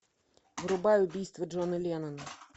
врубай убийство джона леннона